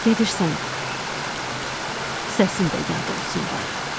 Gedirsən, səsin də yad olsun barı.